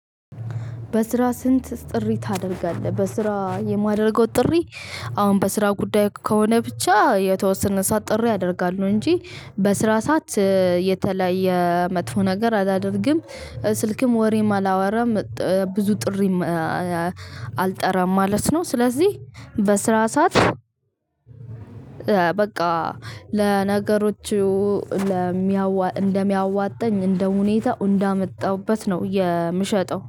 በስራ ስንት ጥሪ ታደርጋለህ በስራ የማደርገው ጥሪ አሁን በስራ ጉዳይ ከሆነ ብቻ የተወሰነ ሰዓት ጥሪ አደርጋለው። እንጂ በስራ ሰዓት የተለየ መጥፎ ነገር አላደርግም ስልክም ወሬም አላወራም። ብዙ ጥሪም አልጠራም ማለት ነው። ስለዚህ በስራ ሰዓት በቃ ለነገሮቹ እደሚያዋጥኝ እንደሚያዋጣኝ እንደ ሁኔታው እንዳመጣሁበት ነው። የምሸጠው